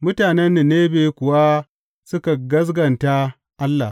Mutanen Ninebe kuwa suka gaskata Allah.